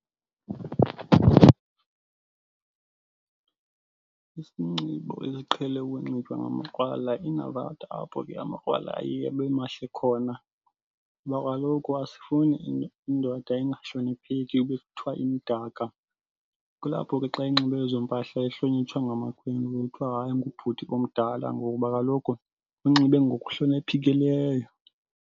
Isinxibo esiqhele ukunxitywa ngamakrwala ingabantu apho ke amakrwala ayeye abe mahle khona ngoba kaloku asifuni indoda ingahlonipheki yokuzithwala imdaka. Kulapho ke xa inxibe ezo mpahla ihlonitshwa ngamakhwenkwe kuthiwa hayi ngubhuti omdala ngoba kaloku unxibe ngokuhloniphekileyo.